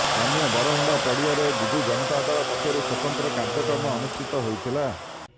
ସ୍ଥାନୀୟ ବରମୁଣ୍ଡା ପଡ଼ିଆରେ ବିଜୁ ଜନତା ଦଳ ପକ୍ଷରୁ ସ୍ୱତନ୍ତ୍ର କାର୍ଯ୍ୟକ୍ରମ ଅନୁଷ୍ଠିତ ହୋଇଥିଲା